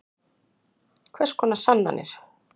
Kristinn: Hvers konar sannanir?